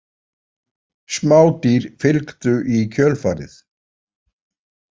Smádýr fylgdu í kjölfarið.